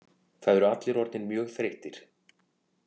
Það eru allir orðnir mjög þreyttir